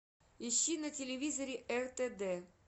ищи на телевизоре ртд